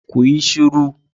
Ku yi shiru!